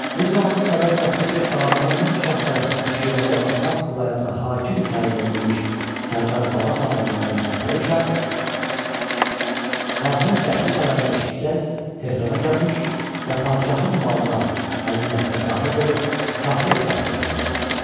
Bu zaman xəbər çatdı ki, Ağa Məhəmməd şah tərəfindən Şiraza və Fars vilayətinə hakim təyin edilmiş Sərdar Babaxan adlanan Fətəli Şah şahın qətli xəbərini eşitsəyk Tehrana gəlmiş və padşahın malına, xəzinəsinə sahib olub şahlıq taxtına əyləşmişdi.